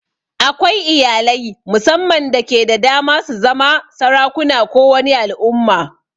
Akwai iyalai mussaman dake da dama su zama sarakuna ko wani al'umma.